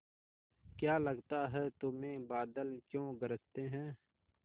क्या लगता है तुम्हें बादल क्यों गरजते हैं